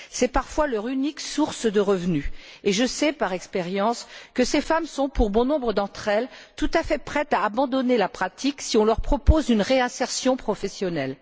C'est parfois leur unique source de revenu et je sais, par expérience, que ces femmes sont, pour bon nombre d'entre elles, tout à fait prêtes à abandonner la pratique si on leur propose une réinsertion professionnelle.